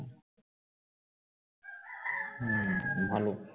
হম ভালো